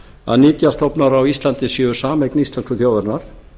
að nytjastofnar á íslandi séu sameign íslensku þjóðarinnar